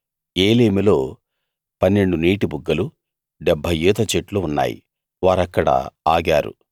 ఏలీములో 12 నీటిబుగ్గలు 70 ఈతచెట్లు ఉన్నాయి వారక్కడ ఆగారు